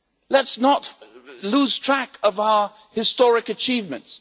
Let us not lose track of our historic achievements